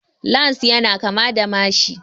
Lans ya na kama da mashi